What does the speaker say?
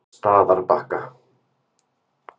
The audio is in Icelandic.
Staðarbakka